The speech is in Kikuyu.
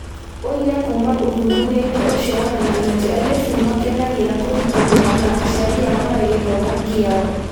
Ũira kuuma ũthuthuria-inĩ ũcio wonanagia atĩ airĩtu nĩ makenagĩra kũnyitanĩra na aciari ao harĩ gĩthomo kĩao.